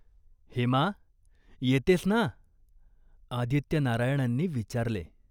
"हेमा, येतेस ना?" आदित्यनारायणांनी विचारले.